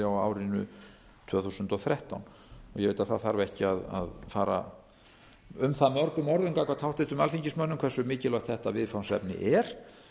á árinu tvö þúsund og þrettán ég veit að það þarf ekki að fara um það mörgum orðum gagnvart háttvirtum alþingismönnum hversu mikilvægt þetta viðfangsefni er